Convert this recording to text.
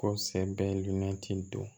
Ko sɛ bɛ lilinati don